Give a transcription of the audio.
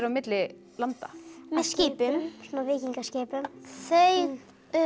milli landa með skipum svona víkingaskipum þau